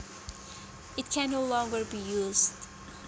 It can no longer be used